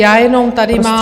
Já jenom tady mám...